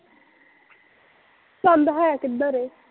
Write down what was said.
ਚੰਦ ਹੈ ਕਿੱਧਰ